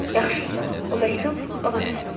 Yaxşı, bu məktub, o da sən.